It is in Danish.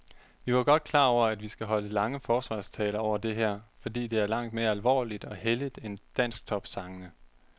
Vi var godt klar over, at vi skal holde lange forsvarstaler over det her, fordi det er langt mere alvorligt og helligt end dansktopsangene.